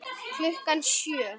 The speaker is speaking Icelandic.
Klukkan sjö.